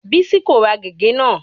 Bísí kò ra gègé náà.